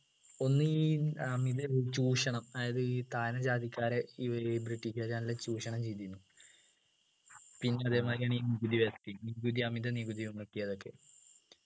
ഒന്ന് ഈ അമിത ചൂഷണം അതായത് ഈ താഴ്ന്ന ജാതിക്കാരെ വര് british കാർ നല്ല ചൂഷണം ചെയ്തതിന് പിന്നെ അതേമാതിരിയാണ് ഈ നികുതി വ്യവസ്ഥയും നികുതി അമിത നികുതിയും ചുമത്തിയതൊക്കെ